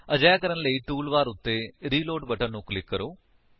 ਅਜਿਹਾ ਕਰਨ ਲਈ ਟੂਲ ਬਾਰ ਉੱਤੇ ਰਿਲੋਡ ਬਟਨ ਨੂੰ ਕਲਿਕ ਕਰੋ